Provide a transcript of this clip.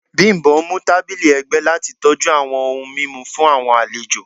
Bimbo mu tabili ẹgbẹ lati tọju awọn ohun mimu fun awọn alejo